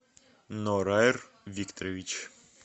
нораер викторович